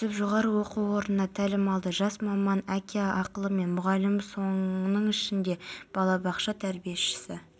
жел екпіні болады ақмола алматы жамбыл облыстарының кей жерлерінде бұршақ жаууы мүмкін жел күшейеді солтүстік